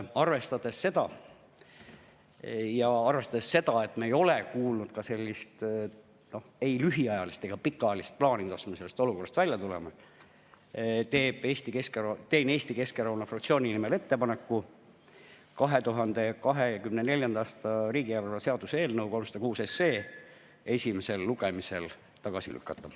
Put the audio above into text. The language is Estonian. Arvestades seda ja arvestades seda, et me ei ole kuulnud ei lühiajalist ega pikaajalist plaani, kuidas me sellest olukorrast välja tuleme, teen Eesti Keskerakonna fraktsiooni nimel ettepaneku 2024. aasta riigieelarve seaduse eelnõu 306 esimesel lugemisel tagasi lükata.